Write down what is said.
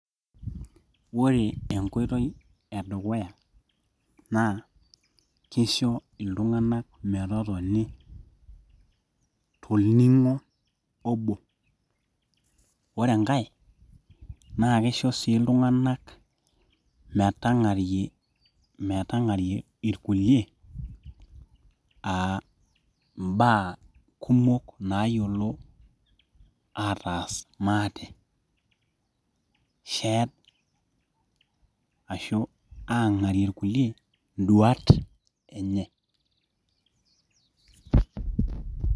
Ore enkoitoi edukuya naa keisho iltung'anak metotoni torning'o obo ore enkai naa keisho sii iltung'anak metang'arie irkulie aa imbaa kumok naayiolo aaataas maate ashuu aang'arie irkulie induat enye .